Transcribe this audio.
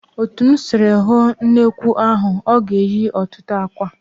Otu m sịrị hụ nnekwu ahụ, ọ ga-eyi ọtụtụ àkwạ́.